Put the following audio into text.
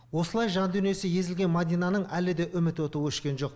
осылай жан дүниесі езілген мәдинаның әлі де үміт оты өшкен жоқ